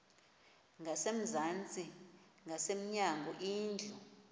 ngasezantsi ngasemnyango indlu